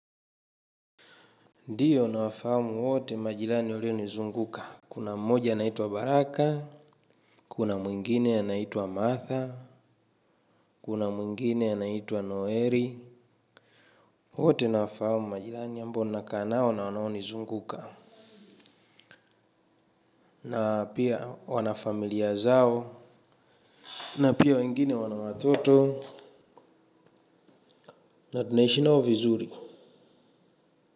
Ndiyo nawafahamu wote majilani walio nizunguka. Kuna mmoja anaitwa Baraka, Kuna mwingine anaitwa Martha. Kuna mwingine anaitwa Noeri. Wote nawafahamu majilani ambao nakaa nao na wanao nizunguka. Na pia wanafamilia zao. Na pia wengine wana watoto. Na tunahishi nao vizuri.